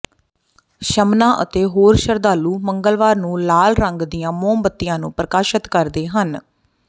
ਸ਼ਮਨਾਂ ਅਤੇ ਹੋਰ ਸ਼ਰਧਾਲੂ ਮੰਗਲਵਾਰ ਨੂੰ ਲਾਲ ਰੰਗ ਦੀਆਂ ਮੋਮਬੱਤੀਆਂ ਨੂੰ ਪ੍ਰਕਾਸ਼ਤ ਕਰਦੇ ਹਨ